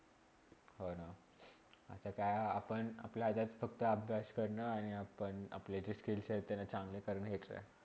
हो ना, आता काय आपण आपल्या हातात फक्त अभ्यास कारण आणि आपण आपले जे skills आहेत ते चांगले करण्याचा